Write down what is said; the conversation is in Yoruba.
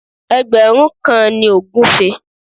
Ẹgbẹ̀rún kan ni ògúfe